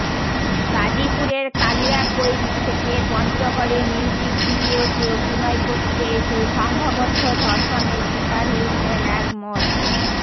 গাজীপুরের কালিয়াকৈর থেকে পঞ্চগড়ে মিউজিক ভিডিওতে অভিনয় করতে এসে সংঘবদ্ধ ধর্ষণের শিকার হয়েছেন এক মড